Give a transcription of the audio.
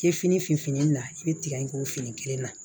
I ye fini finfin fini na i be tigɛ in k'o fini kelen na